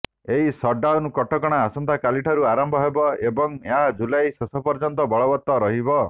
ଏହି ସଟ୍ଡାଉନ୍ କଟକଣା ଆସନ୍ତାକାଲିଠାରୁ ଆରମ୍ଭ ହେବ ଏବଂ ଏହା ଜୁଲାଇ ଶେଷ ପର୍ଯ୍ୟନ୍ତ ବଳବତ୍ତର ରହିବ